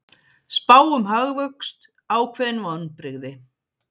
Spá um hagvöxt ákveðin vonbrigði